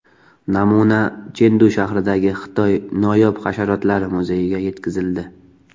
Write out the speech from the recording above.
Namuna Chendu shahridagi Xitoy noyob hasharotlari muzeyiga yetkazildi.